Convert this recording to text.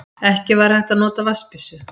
Ekki hægt að nota vatnsbyssu